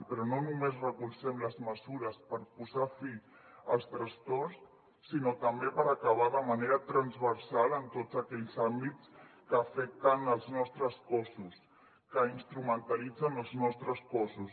però no només recolzem les mesures per posar fi als trastorns sinó també per acabar de manera transversal amb tots aquells àmbits que afecten els nostres cossos que instrumentalitzen els nostres cossos